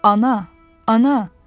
Ana, Ana!